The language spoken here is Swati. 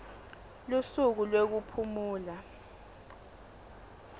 lusuku lwekuphumula